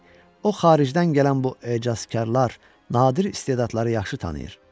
o xaricdən gələn bu əcazkarlar nadir istedadları yaxşı tanıyır.